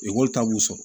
Ekɔli ta b'u sɔrɔ